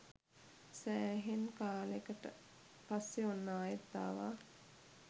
සෑහෙන් කාලෙකට පස්සේ ඔන්න ආයෙත් ආවා.